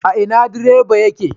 Ina direban yake